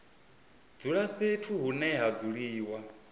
dzula fhethu hune ha dzuliwa